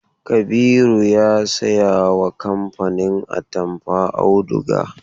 Kabiru ya sayawa kamfanin atamfa auduga.